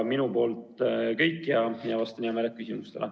Minu poolt kõik ja vastan hea meelega küsimustele.